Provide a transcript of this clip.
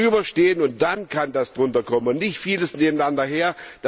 Das muss darüberstehen, und dann kann was darunter kommen und nicht vieles nebeneinander her.